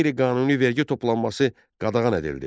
Qeyri-qanuni vergi toplanması qadağan edildi.